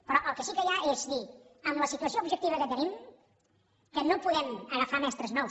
però el que sí que hi ha és dir amb la situació objectiva que tenim que no podem agafar mestres nous